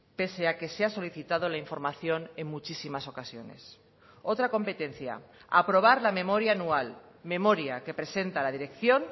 pese a que se ha solicitado la información en muchísimas ocasiones otra competencia aprobar la memoria anual memoria que presenta la dirección